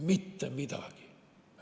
Mitte midagi!